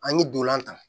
An ye dolonlan ta